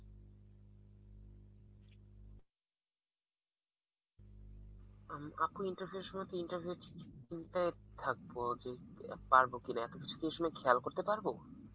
আপু interview এর সময় তো interview তে থাকবো যে পারবো কিনা, এত কিছু তো এই সময় খেয়াল করতে পারবো?